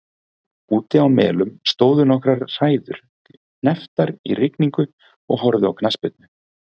Úti á Melum stóðu nokkrar hræður hnepptar í rigningu og horfðu á knattspyrnu.